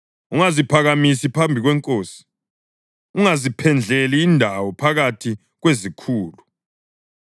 Ungaziphakamisi phambi kwenkosi, ungaziphendleli indawo phakathi kwezikhulu;